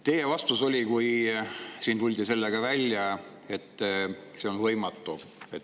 Teie vastus, kui siin tuldi sellega välja, oli, et see on võimatu.